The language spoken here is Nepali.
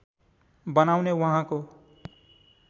बनाउने उहाँको